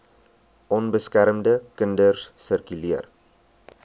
onbeskermde kinders sirkuleer